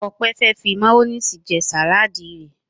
Ope fe fí mayonnaise sí Sàláàdì rẹ.